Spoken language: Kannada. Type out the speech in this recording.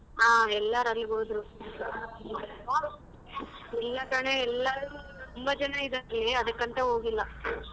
ಹಾ ಎಲ್ಲರ ಅಲ್ಲಿಗ್ ಹೋದ್ರು ಇಲ್ಲ ಕಣೇ ತುಂಬ ಜನ ಇದ್ದಾರೆ ಇಲ್ಲಿ ಅದಕ್ಕಂತ ಹೋಗಿಲ್ಲ.